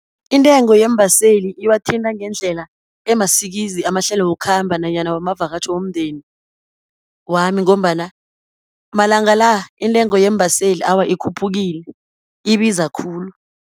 Intengo yeembaseli iwathintha ngendlela emasikizi, amahlelo wokukhamba nanyana wamavakatjho womndeni wami, ngombana malanga la, intengo yeembaseli awa, ikhuphukile ibiza khulu.